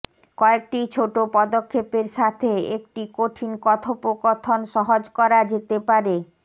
কয়েকটি ছোট পদক্ষেপের সাথে একটি কঠিন কথোপকথন সহজ করা যেতে পারে